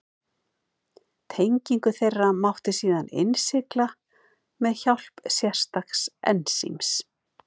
Tengingu þeirra mátti síðan innsigla með hjálp sérstaks ensíms.